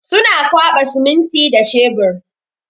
Suna kwaɓa siminti da shebur.